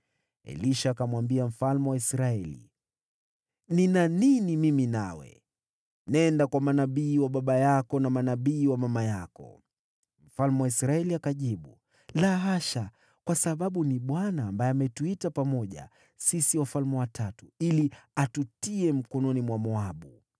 Elisha akamwambia mfalme wa Israeli, “Nina nini mimi nawe? Nenda kwa manabii wa baba yako na manabii wa mama yako.” Mfalme wa Israeli akajibu, “La hasha, kwa sababu ni Bwana ambaye ametuita pamoja sisi wafalme watatu ili atutie mikononi mwa Moabu.”